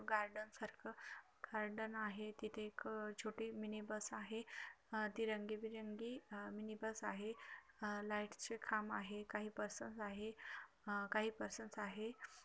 Garden सारख garden आहे तिथे एक छोटी मिनी बस आहे अह ती रंगीबेरंगी अह मिनी बस आहे अह लाइट चे खांब आहे काही पर्सन्स आहे काही पर्सन्स आहे.